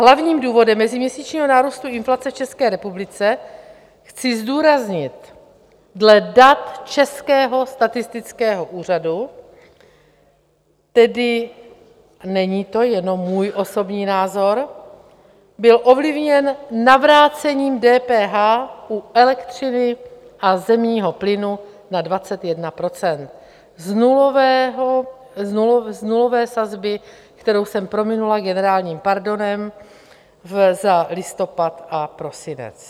Hlavním důvodem meziměsíčního nárůstu inflace v České republice, chci zdůraznit dle dat Českého statistického úřadu, tedy není to jenom můj osobní názor, byl ovlivněn navrácením DPH u elektřiny a zemního plynu na 21 % z nulové sazby, kterou jsem prominula generálním pardonem za listopad a prosinec.